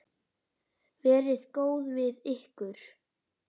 Verið góð við ykkur.